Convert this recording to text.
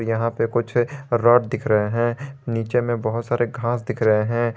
यहां पे कुछ रॉड दिख रहे है नीचे में बहोत सारे घास दिख रहे है।